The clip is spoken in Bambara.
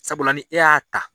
Sabula ni e y'a ta.